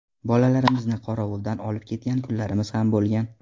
Bolalarimizni qorovuldan olib ketgan kunlarimiz ham bo‘lgan.